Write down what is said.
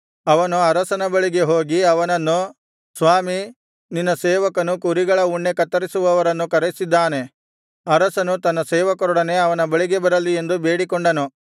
ಅವನು ಅರಸನ ಬಳಿಗೆ ಹೋಗಿ ಅವನನ್ನು ಸ್ವಾಮೀ ನಿನ್ನ ಸೇವಕನು ಕುರಿಗಳ ಉಣ್ಣೆ ಕತ್ತರಿಸುವವರನ್ನು ಕರೆಸಿದ್ದಾನೆ ಅರಸನು ತನ್ನ ಸೇವಕರೊಡನೆ ಅವನ ಬಳಿಗೆ ಬರಲಿ ಎಂದು ಬೇಡಿಕೊಂಡನು